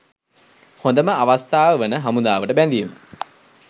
හොඳම අවස්ථාව වන හමුදාවට බැඳීම